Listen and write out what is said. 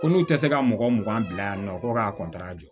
Ko n'u tɛ se ka mɔgɔ mugan bila yan nɔ ko k'a